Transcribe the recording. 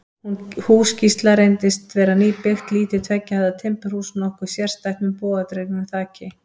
Hús Gísla reyndist vera nýbyggt, lítið tveggja hæða timburhús, nokkuð sérstætt, með bogadregnu þaki.